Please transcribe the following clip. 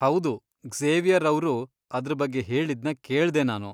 ಹೌದು ಕ್ಸೇವಿಯರ್ ಅವ್ರು ಅದ್ರ್ ಬಗ್ಗೆ ಹೇಳಿದ್ನ ಕೇಳ್ದೆ ನಾನು.